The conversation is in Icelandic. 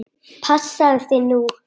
Passaðu þig nú!